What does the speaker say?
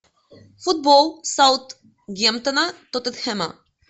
футбол саутгемптона тоттенхэма